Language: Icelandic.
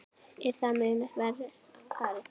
Er það mun verr farið.